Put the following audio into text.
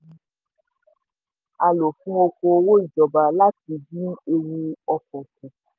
púpọ̀ owó yìí ni a lò fún oko òwò ìjọba láti dín ewu òfò kù.